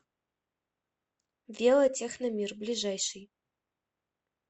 велотехномир ближайший